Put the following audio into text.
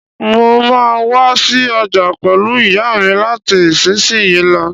N o máa wa si ojà pẹ̀lu ìyámi láti isinsin yi lo